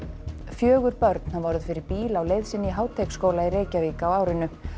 fjögur börn hafa orðið fyrir bíl á leið sinni í Háteigsskóla í Reykjavík á árinu